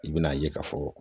I bɛ n'a ye k'a fɔ